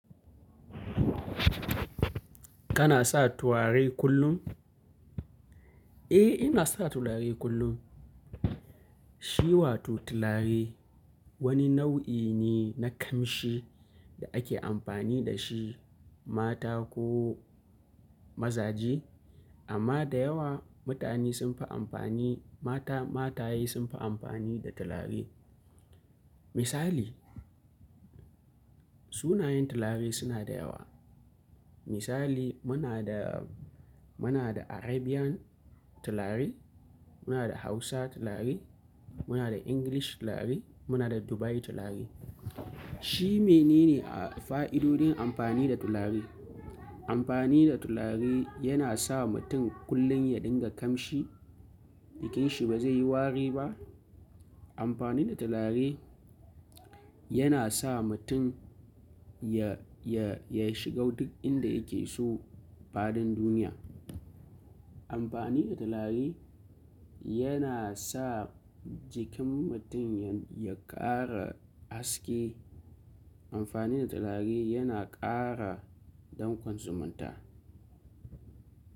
Kana sa turare kullum? Eh, ina sa turare kullum. Shi wato turare wani nau'i ne na kamshi da ake amfani da shi mata ko mazaje. Amma da yawa mutane sun fi amfani, mata mataye sun fi amfani da turare. Misali sunayen turare suna da yawa. Misali muna da, muna da Arabian turare, muna da Hausa turare, muna da English turare, muna da Dubai turare. Shi me ne ne a fa'idodin amfani da turare? Amfani da turare yana sa mutum kullum ya dinga kamshi, jikinsa ba zai yi wari ba. Amfani da turare yana sa mutum ya, ya, ya shiga duk inda yake so fadin duniya. Amfani da turare yana sa jikin mutum ya, ya ƙara haske. Amfani da turare yana ƙara dankon zumunta.